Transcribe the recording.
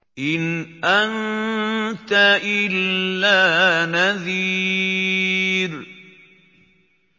إِنْ أَنتَ إِلَّا نَذِيرٌ